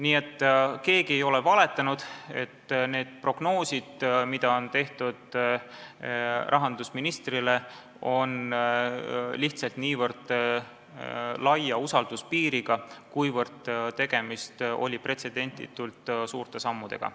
Nii et keegi ei ole valetanud, need prognoosid, mida tehti rahandusministrile, on lihtsalt niivõrd laia usalduspiiriga, sest tegemist oli pretsedenditult suurte sammudega.